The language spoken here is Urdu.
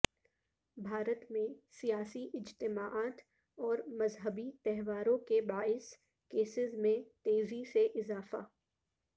بھارت میں سیاسی اجتماعات اور مذہبی تہواروں کے باعث کیسز میں تیزی سے اضافہ